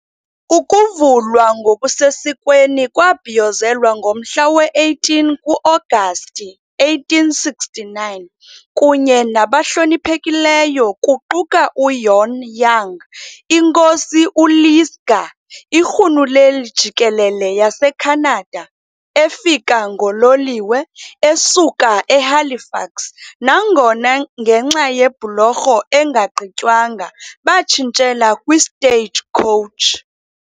Ukuvulwa ngokusesikweni kwabhiyozelwa ngomhla we-18 ku-Agasti 1869 kunye nabahloniphekileyo kuquka uJohn Young, iNkosi uLisgar, iRhuluneli Jikelele yaseKhanada efika ngololiwe esuka eHalifax nangona ngenxa yebhulorho engagqitywanga batshintshela kwi- stagecoach